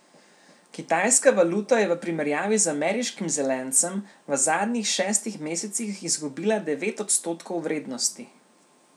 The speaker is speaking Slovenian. Kitajska valuta je v primerjavi z ameriškim zelencem v zadnjih šestih mesecih izgubila devet odstotkov vrednosti.